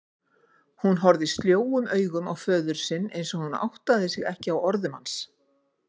Hún horfði sljóum augum á föður minn einsog hún áttaði sig ekki á orðum hans.